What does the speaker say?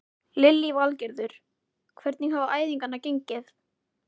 Lillý Valgerður: Hvernig hafa æfingar gengið?